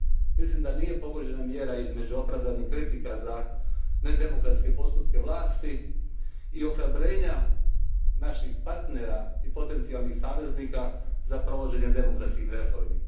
Mislim da nije pogođena mjera između opravdanih kritika za nedemokratske postupke vlasti i ohrabrenja naših partnera i potencialnih saveznika za provođenje demokratskih reformi.